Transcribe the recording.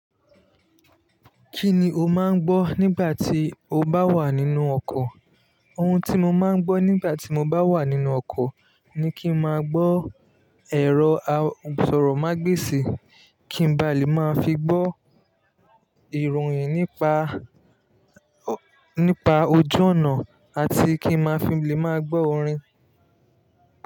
Kí ni o máa ń gbọ́ nígbà tí o bá wà nínú ọkọ̀? Ohun tí mo máa ń gbọ́ nígbà tí mo bá wà nínú ọkọ̀ ni kí n máa gbọ́ ẹ̀rọ asọ̀rọ̀mágbèsì, kí n ba lè máa fi gbọ́ ìròyìn nípa, nípa ojú ọ̀nà àti kí n maa fi lè máa gbọ́ orin.